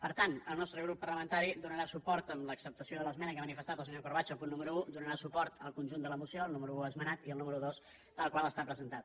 per tant el nostre grup parlamentari donarà suport amb l’acceptació de l’esmena que ha manifestat el se·nyor corbacho al punt número un donarà suport al con·junt de la moció al número un esmenat i al número dos tal qual ha estat presentat